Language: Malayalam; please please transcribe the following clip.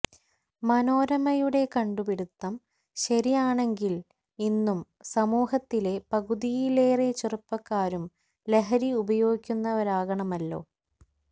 മനോരമയുടെ കണ്ടുപിടുത്തം ശരിയാണെങ്കില് ഇന്നു സമൂഹത്തിലെ പകുതിയിലേറെ ചെറുപ്പക്കാരും ലഹരി ഉപയോഗിക്കുന്നവരാകണമല്ലോ